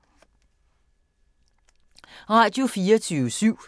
Radio24syv